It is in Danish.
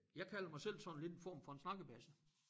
Jeg kalder mig selv sådan lidt en form for en snakkebasse